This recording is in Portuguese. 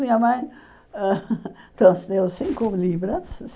Minha mãe trouxe deu cinco libras.